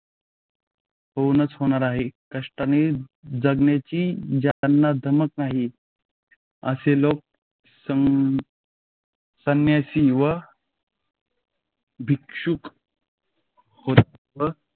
होऊनच होणार आहे. कष्टाने जगण्याची ज्यांना धमक नाही, असे लोक सम संन्यासी व भिक्षुक होतात